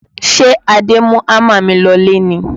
Ṣé Adé mú hámà mi lọlé ni?